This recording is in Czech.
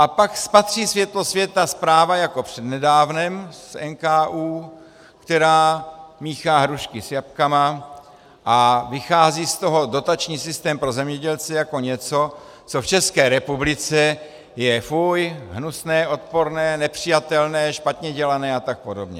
A pak spatří světlo světa zpráva jako přednedávnem z NKÚ, která míchá hrušky s jabkama, a vychází z toho dotační systém pro zemědělce jako něco, co v České republice je fuj, hnusné, odporné, nepřijatelné, špatně dělané a tak podobně.